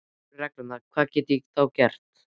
En ef þetta eru reglurnar, hvað get ég þá gert?